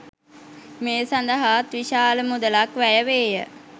මේ සඳහාත් විශාල මුදලක් වැය වේ ය